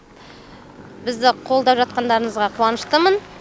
бізді қолдап жатқандарыңызға қуаныштымын